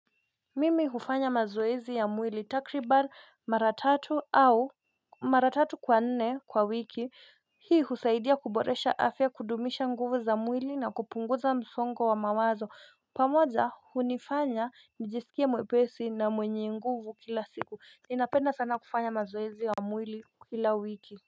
Mimi hufanya mazoezi ya mwili takriban mara tatu au mara tatu kwa nne kwa wiki. Hii husaidia kuboresha afya, kudumisha nguvu za mwili na kupunguza msongo wa mawazo. Pamoja, hunifanya nijisikie mwepesi na mwenye nguvu kila siku. Ninapenda sana kufanya mazoezi ya mwili kila wiki.